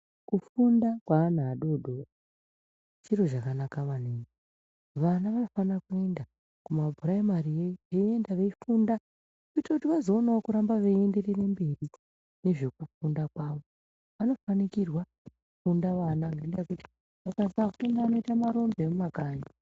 Kufunda kwevana adodori chiro chakanaka maningi , vana vanofana kuenda kumapuraimariyo iyo veienda veifunda kuita kuti vazoonawo kuramba veienderera mberi mune zvekufunda kwavo vanofanikirwa kufunda vana ngendaa yekuti akasafunda vanoita marombe emumakanyi.